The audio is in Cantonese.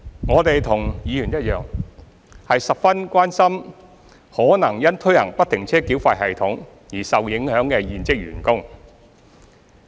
我們和議員一樣，十分關心可能因推行不停車繳費系統而受影響的現職員工。